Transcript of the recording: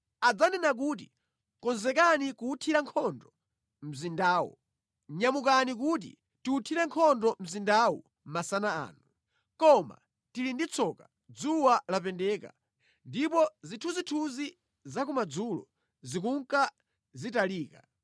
Adzanena kuti, “Konzekani kuwuthira nkhondo mzindawo! Nyamukani, kuti tiwuthire nkhondo mzindawu masana ano. Koma tili ndi tsoka, dzuwa lapendeka, ndipo zithunzithunzi za kumadzulo zikunka zitalika.